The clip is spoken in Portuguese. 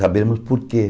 Sabemos por quê.